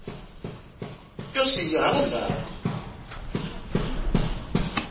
yo siya hala ndzzhaku